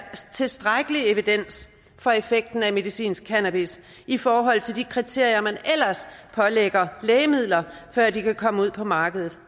tilstrækkelig evidens for effekten af medicinsk cannabis i forhold til de kriterier man ellers pålægger lægemidler før de kan komme ud på markedet